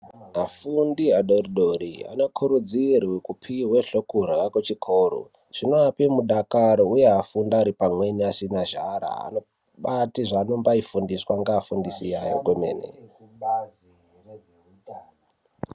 Vafundi vadodori vanokurudzirwe kupiwa zvekurya kuchikora zvinovape mudakaro uye vanofunda pamweni vasina nzara. Vafundisi vavo vanovafundisa kwemene.